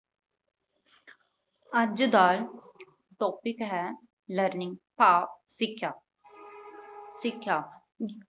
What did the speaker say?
ਅੱਜ ਦਾ topic ਹੈ learning ਭਾਵ ਸਿੱਖਿਆ, ਸਿੱਖਿਆ